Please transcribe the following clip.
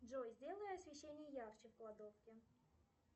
джой сделай освещение ярче в кладовке